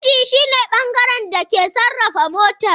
Inji shi ne bangaren da ke sarrafa motar.